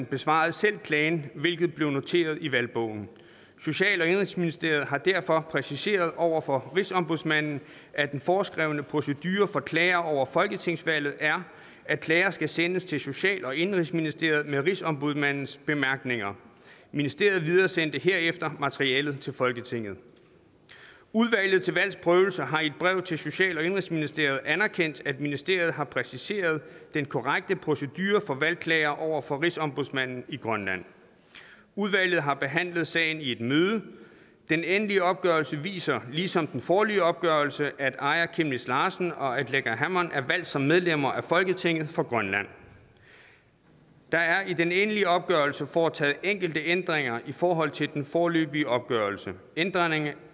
besvarede selv klagen hvilket blev noteret i valgbogen social og indenrigsministeriet har derfor præciseret over for rigsombudsmanden at den foreskrevne procedure for klager over folketingsvalget er at klager skal sendes til social og indenrigsministeriet med rigsombudsmandens bemærkninger ministeriet videresender herefter materialet til folketinget udvalget til valgs prøvelse har i et brev til social og indenrigsministeriet anerkendt at ministeriet har præciseret den korrekte procedure for valgklager over for rigsombudsmanden i grønland udvalget har behandlet sagen i et møde den endelige opgørelse viser ligesom den foreløbige opgørelse at aaja chemnitz larsen og aleqa hammond er valgt som medlemmer af folketinget for grønland der er i den endelige opgørelse foretaget enkelte ændringer i forhold til den foreløbige opgørelse ændringerne